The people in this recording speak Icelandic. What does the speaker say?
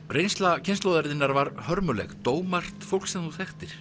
reynsla kynslóðar þinnar var hörmuleg dó margt fólk sem þú þekktir